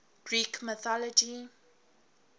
greek mythology